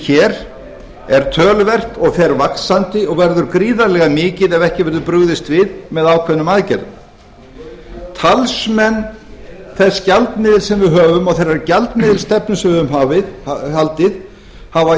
hér er töluvert og fer vaxandi og verður gríðarlega mikið ef ekki verður brugðist við með ákveðnum aðgerðum talsmenn þess gjaldmiðils sem við höfum og þeirrar gjaldmiðilsstefnu sem við höfum haldið hafa